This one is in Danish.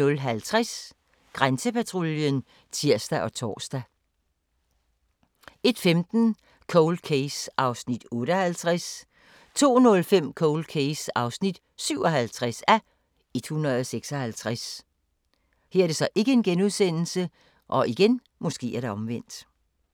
00:50: Grænsepatruljen (tir og tor) 01:15: Cold Case (58:156) 02:05: Cold Case (57:156)